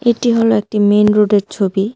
এটি হল একটি মেইন রোডের ছবি।